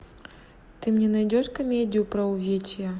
ты мне найдешь комедию про увечья